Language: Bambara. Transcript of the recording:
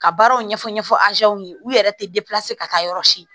Ka baaraw ɲɛfɔ ɲɛfɔ ye u yɛrɛ tɛ ka taa yɔrɔ si